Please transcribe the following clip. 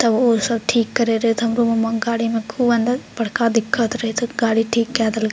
तब उ सब ठीक करे देत हमरो गाड़ी में खूब अंदर बड़का दिक्कत रहे त गाड़ी ठीक कर देल --